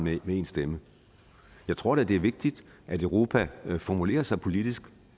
med én stemme jeg tror da det er vigtigt at europa formulerer sig politisk